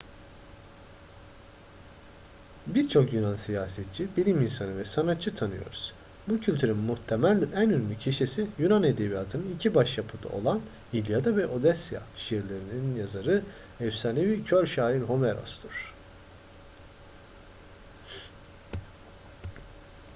birçok yunan siyasetçi bilim insanı ve sanatçı tanıyoruz. bu kültürün muhtemel en ünlü kişisi yunan edebiyatının iki başyapıtı olan i̇lyada ve odysseia şiirlerinin yazarı efsanevi kör şair homeros'tur